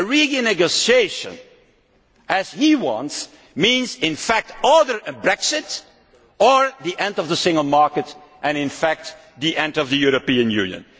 it. A renegotiation of the kind he wants means in fact either a Brexit' or the end of the single market and in fact the end of the European Union.